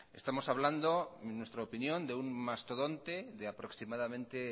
estamos hablando en nuestra opinión de un mastodonte de aproximadamente